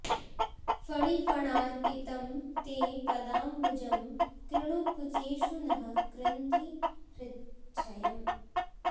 फणिफणार्पितं ते पदांबुजं कृणु कुचेषु नः कृन्धि हृच्छयम्